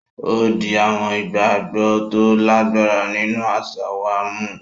O di awọn ìgbàgbọ to lagbara nínú aṣa wà mú.